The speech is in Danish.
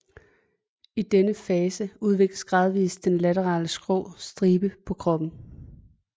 I denne fase udvikles gradvist den laterale skrå stribe på kroppen